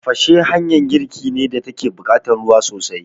Tafashe hanyan girki ne da take buƙatan ruwa sosai